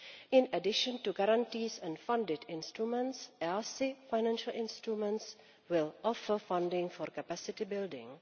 In addition to guarantees and funded instruments, EaSI financial instruments will offer funding for capacity building.